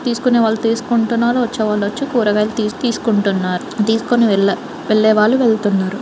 తీసుకునే వాళ్ళు తీసుకుంటున్నారు. వచ్చే వాళ్లు వచ్చి కూరగాయలు తీసి తీసుకుంటున్నారు. తీసుకుని వెళ్లే వాళ్ళు వెళ్తున్నారు.